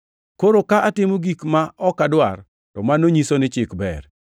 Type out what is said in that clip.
Koro ka atimo gik ma ok adwar, to mano nyiso ni Chik ber.